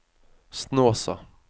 Snåsa